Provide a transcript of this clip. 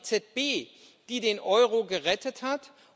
Es war die EZB, die den Euro gerettet hat